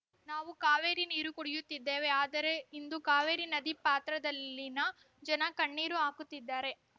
ನಾವು ಕಾವೇರಿ ನೀರು ಕುಡಿಯುತ್ತಿದ್ದೇವೆ ಆದರೆ ಇಂದು ಕಾವೇರಿ ನದಿ ಪಾತ್ರದಲ್ಲಿನ ಜನ ಕಣ್ಣೀರು ಹಾಕುತ್ತಿದ್ದಾರೆ